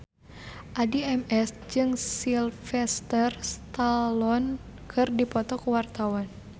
Addie MS jeung Sylvester Stallone keur dipoto ku wartawan